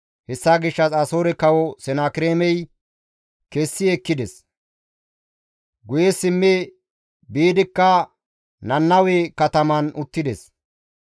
Hessa gishshas Asoore Kawo Senakireemey kessi ekkides; guye simmi biidikka Nannawe kataman uttides.